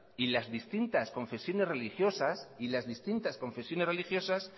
y las distintas confesiones religiosas